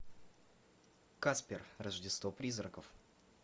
каспер рождество призраков